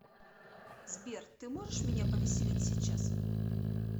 сбер ты можешь меня повеселить сейчас